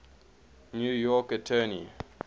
new york attorney